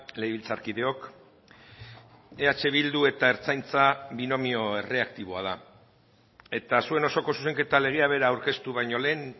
legebiltzarkideok eh bildu eta ertzaintza binomio erreaktiboa da eta zuen osoko zuzenketa legea bera aurkeztu baino lehen